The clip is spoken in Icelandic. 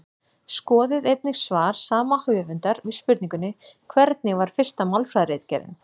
Skoðið einnig svar sama höfundar við spurningunni Hvernig var fyrsta málfræðiritgerðin?